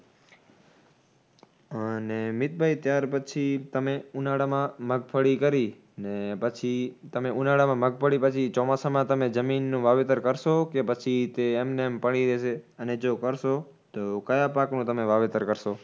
અને મિતભાઈ ત્યાર પછી તમે ઉનાળામાં મગફળી કરી ને પછી તમે ઉનાળામાં મગફળી પછી ચોમાસામાં તમે જમીનનું વાવેતર કરશો કે પછી તે એમનેમ પડી રેશે? અને જો કરશો તો કયા પાકનું તમે વાવેતર કરશો?